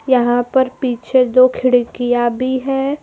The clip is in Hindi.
यहां पर पीछे दो खिड़कियां भी हैं।